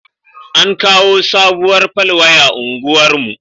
An kawo sabuwar fal waya unguwar mu